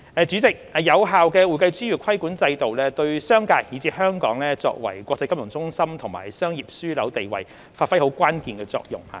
主席，有效的會計專業規管制度，對商界以至香港作為國際金融中心和商業樞紐地位，發揮關鍵作用。